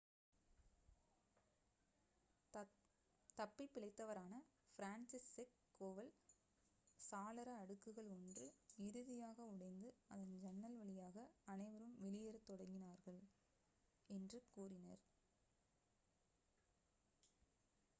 "தப்பிப் பிழைத்தவரான Franciszek Kowal "சாளர அடுக்குகள் ஒன்று இறுதியாக உடைந்து அதன் ஜன்னல் வழியாக அனைவரும் வெளியேறத் தொடங்கினார்கள்" என்று கூறினார்.